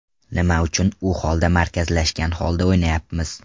Nima uchun u holda markazlashgan holda o‘ynayapmiz?